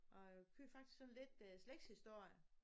Og jeg kører faktisk sådan lidt øh slægtshistorie